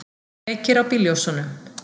Kveikir á bílljósunum.